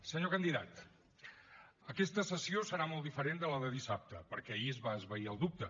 senyor candidat aquesta sessió serà molt diferent de la de dissabte perquè ahir es va esvair el dubte